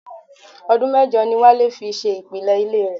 Ọdún mẹ́jọ ni Wálé fi ṣe ìpìlẹ̀ ilé rẹ̀.